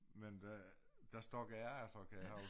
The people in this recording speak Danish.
Men da der stak jeg af så kan jeg huske